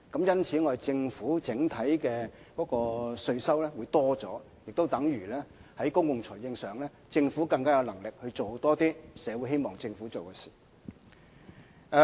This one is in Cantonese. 因此，政府整體稅收會增加，也等於在公共財政上，政府有能力多做一些符合社會期望的事情。